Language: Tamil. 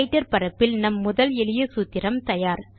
ரைட்டர் பரப்பில் நம் முதல் எளிய சூத்திரம் தயார்